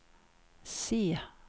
C